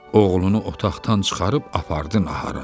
Oğlunu otaqdan çıxarıb apardı nahara.